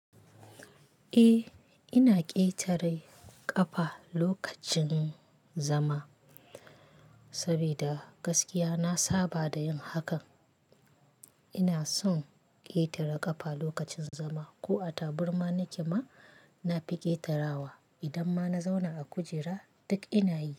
Eh, ina ƙetare ƙafa lokacin zama. Sabida gaskiya na saba da yin hakan. Ina son ƙetare ƙafa lokacin zama ko a tabarma nike ma, na fi ƙetarawa. Idan ma na zauna a kujera, duk ina yi.